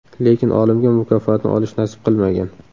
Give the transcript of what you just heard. Lekin olimga mukofotni olish nasib qilmagan.